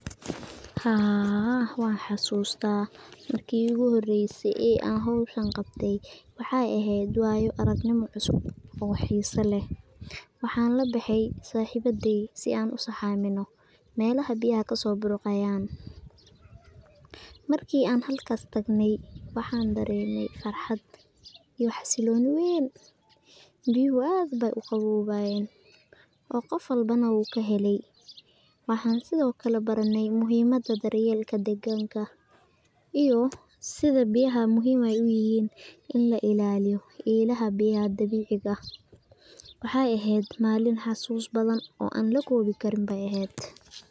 Haaa waxasusta marki igu horeysay ee hooshan qabtay waxay eheyt wayo aragnimo cususb oo slxesa leeh, waxa labaxay saxibaday si aa u aminoh meelaha biyaha burqayan marki an halkas tagnay waxadareemay farxaat xailoni weyn oo qoof walbo kahelaya waxasithokali barenay sitha biyaha muhim u yahin in la ilaliyoh ilaha biya dabecika waxay aheeyt Malin xasus bathan oo an la kobi Karin.